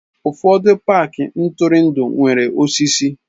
Ụfọdụ paaki ntụrụndụ nwere osisi.